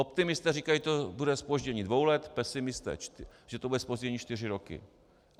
Optimisté říkají to bude zpoždění dvou let, pesimisté, že to bude zpoždění čtyři roky.